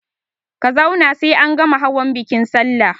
Ka zauna sai an gama hawan bikin salla!